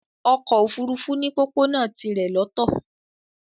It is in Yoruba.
Ọkọ̀ ofurufu ni pópónà tirè lọtó